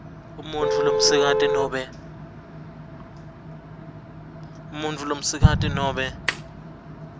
umuntfu lomsikati nobe